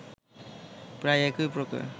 প্রায় একই প্রকার